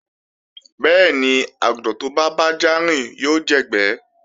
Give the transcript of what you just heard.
Bẹ́ẹ̀ni, àgùntàn tó bá bájá rìn yóò jẹ̀gbẹ́